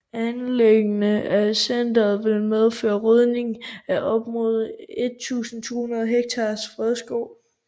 Anlæggelsen af centeret vil medføre rydning af op mod 1200 hektar fredskov